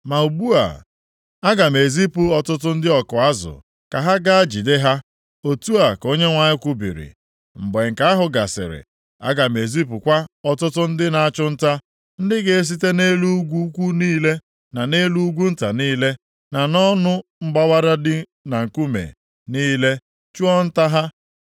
“Ma ugbu a, aga m ezipu ọtụtụ ndị ọkụ azụ ka ha gaa jide ha.” Otu a ka Onyenwe anyị kwubiri. “Mgbe nke ahụ gasịrị, aga m ezipụkwa ọtụtụ ndị na-achụ nta, ndị ga-esite nʼelu ugwu ukwu niile na nʼelu ugwu nta niile, na nʼọnụ mgbawara dị na nkume niile, chụọ nta ha.